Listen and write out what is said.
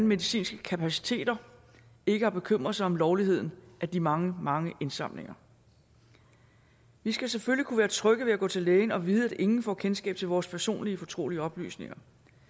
medicinske kapaciteter ikke har bekymret sig om lovligheden af de mange mange indsamlinger vi skal selvfølgelig kunne være trygge ved at gå til lægen og vide at ingen får kendskab til vores personlige fortrolige oplysninger